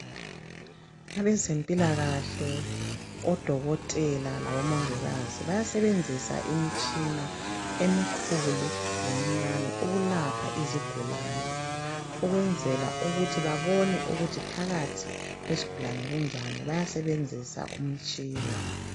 Abezempilakahle, odokotela labomongikazi bayasebenzisa imitshina emikhulu lemincane ukulapha izigulane ukwenzela ukuthi babone ukuthi phakathi kwesigulane kunjani, bayasebenzisa umtshina.